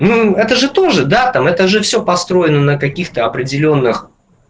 это же тоже да там это же всё построено на каких-то определённых